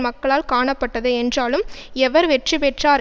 மக்களால் காணப்பட்டது என்றாலும் எவர் வெற்றி பெற்றார்